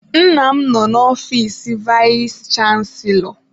Nna m nọ n'ọfiis vayis chansilọ.